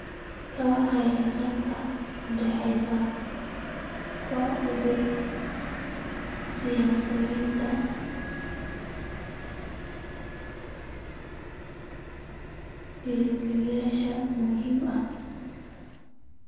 Ka warhaynta xiisadda u dhaxaysa ku darida siyaasad-dejiyeyaasha muhiimka ah.